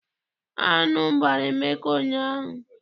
Aṅụ gbara Emeka ụnyaahụ.